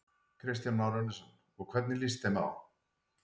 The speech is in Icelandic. Kristján Már Unnarsson: Og hvernig líst þeim á?